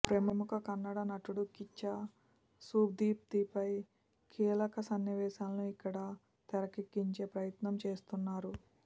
ప్రముఖ కన్నడ నటుడు కిచ్చా సుదీప్పై కీలక సన్నివేశాలను ఇక్కడ తెరకెక్కించే ప్రయత్నం చేస్తున్నారు